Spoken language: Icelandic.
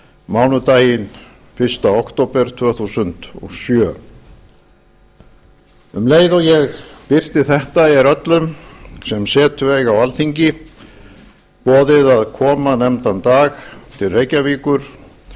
mánudaginn fyrsta október tvö þúsund og sjö um leið og ég birti þetta er öllum sem setu eiga á alþingi boðið að koma nefndan dag til reykjavíkur